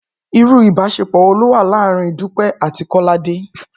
Irú ìbáṣepọ̀ wo ló wà láàárín Dúpẹ́ àti Kọ́ládé?